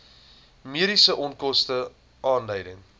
mediese onkoste aanleiding